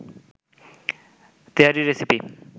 তেহারি recipe